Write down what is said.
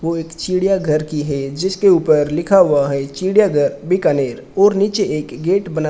वो एक चिड़ियाघर की है जिसके ऊपर लिखा हुआ है चिड़ियाघर बीकानेर और नीचे एक गेट बना--